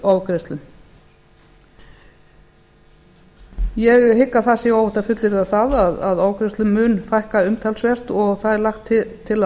ofgreiðslum ég hygg að það sé óhætt að fullyrða að ofgreiðslum mun fækka umtalsvert og það er lagt til að